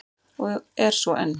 Og er svo enn!